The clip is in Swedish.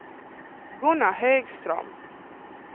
Gunnar Högström